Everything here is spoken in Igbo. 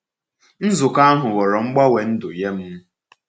Nzukọ ahụ ghọrọ mgbanwe ndụ nye m.